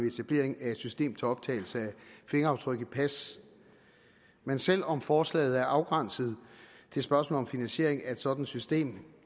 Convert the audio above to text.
etablering af et system til optagelse af fingeraftryk i pas men selv om forslaget er afgrænset til spørgsmålet om finansiering af et sådant system